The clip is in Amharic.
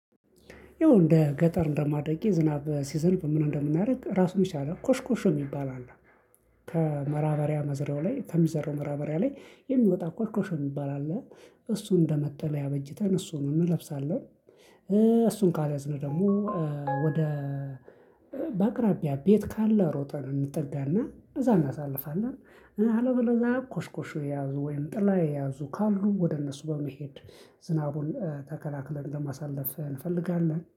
ይኸው እንደ ገጠር እንደማደጌ ዝናብ ሲዘንብ ምን እንደምናደርግ ራሱን የቻለ ኮሽ ኮሽ የሚባል አለ። ከመራበሪያ መዝሪያው ላይ ከሚዘራው መራበሪያ ላይ የሚወጣ ኮሽ ኮሽ የሚባል አለ። እሱ እንደመጠለያ አበጅተን እሱን እንለብሳለን። እሱን ካልያዝን ደግሞ ወደ በአቅራቢያ ቤት ካለ ሮጠን እንጠጋና እዛ እናሳልፋለን። አለበለዛ ኮሽኮሽ የያዙ ወይም ጥላ የያዙ ካሉ ወደ እነሱ በመሄድ ዝናቡን ተከላክለን ለማሳለፍ እንፈልጋለን